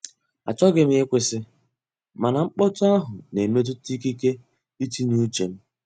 Achọghị m ịkwụsị, mana mkpọtụ ahụ na-emetụta ikike itinye uche m.